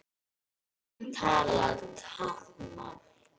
Hann talar táknmál.